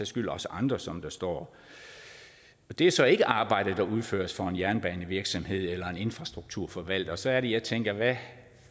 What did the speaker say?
skyld også andre som der står det er så ikke arbejde der udføres for en jernbanevirksomhed eller en infrastrukturforvalter og så er det jeg tænker hvad